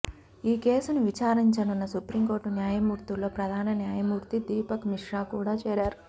ఈ కేసును విచారించనున్న సుప్రీంకోర్టు న్యాయమూర్తుల్లో ప్రధాన న్యాయమూర్తి దీపక్ మిశ్రా కూడా చేరారు